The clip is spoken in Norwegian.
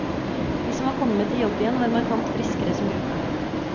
De som var kommet i jobb igjen, var markant friskere som gruppe.